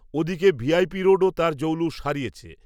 ও দিকে V I P রোডও তার জৌলুস হারিয়েছে